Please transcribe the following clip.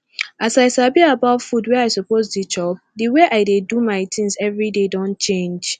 as i sabi about food wey i suppose dey chop the way i dey do my things every day don change